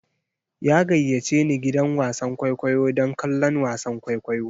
Ya gayyace ni gidan wasan kwaikwayo don kallon wasan kwaikwayo.